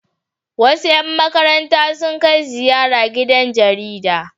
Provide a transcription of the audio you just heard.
Wasu 'yan markaranta sun kai ziyara gidan jarida.